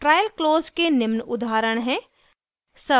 trial close के निम्न उदाहरण हैं